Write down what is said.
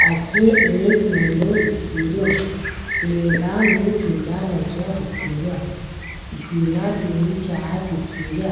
अठ एक मेला दिखेरो मेला में झूला लागिया दिखेरा झूला तीन चार दिखेरा।